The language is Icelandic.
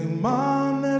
man er